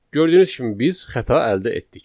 Gördüyünüz kimi biz xəta əldə etdik.